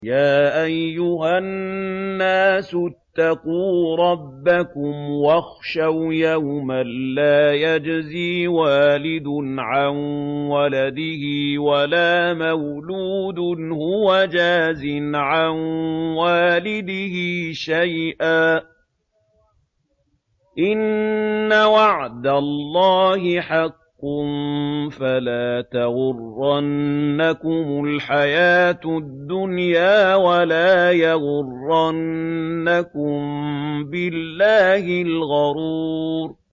يَا أَيُّهَا النَّاسُ اتَّقُوا رَبَّكُمْ وَاخْشَوْا يَوْمًا لَّا يَجْزِي وَالِدٌ عَن وَلَدِهِ وَلَا مَوْلُودٌ هُوَ جَازٍ عَن وَالِدِهِ شَيْئًا ۚ إِنَّ وَعْدَ اللَّهِ حَقٌّ ۖ فَلَا تَغُرَّنَّكُمُ الْحَيَاةُ الدُّنْيَا وَلَا يَغُرَّنَّكُم بِاللَّهِ الْغَرُورُ